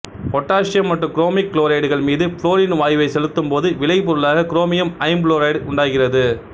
potassium மற்றும் chromic குளோரைடுகள் மீது புளோரின் வாயுவைச் செலுத்தும் போது விளைபொருளாக குரோமியம் ஐம்புளோரைடு உண்டாகிறது